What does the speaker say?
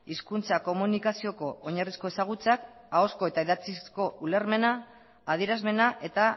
hizkuntza komunikazioko oinarrizko ezagutzak ahozko eta idatzizko ulermena adierazmena eta